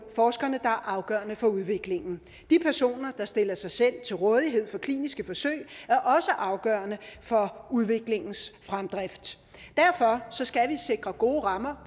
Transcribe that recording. forskerne der er afgørende for udviklingen de personer der stiller sig selv til rådighed for kliniske forsøg er også afgørende for udviklingens fremdrift derfor skal vi sikre gode rammer